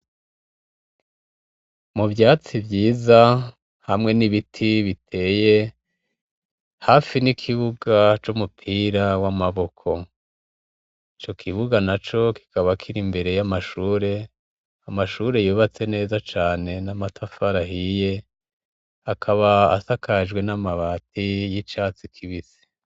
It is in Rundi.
Mu vyatsi vyiza hamwe n'ibiti biteye hafi n'ikibuga c'umupira w'amaboko. Ico kibuga naco kikaba kiri imbere y'amashure, amashure yubatse neza cane n'amatafari ahiye akaba asakajwe n'amabati y'icatsi kibisi.